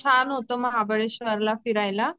छान होत महाबळेश्वर ला फिरायला.